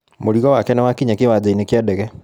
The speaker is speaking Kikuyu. Mũrigo wake nĩwakinya kĩwanjainĩ kĩa ndege.